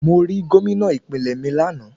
Mo rí Gómìnà ìpínlẹ̀ mi lánàá.